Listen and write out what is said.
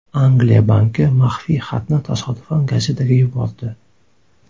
Angliya banki maxfiy xatni tasodifan gazetaga yubordi.